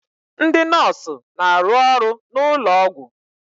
Ndị nọọsụ na-arụ n'ụlọ ọgwụ.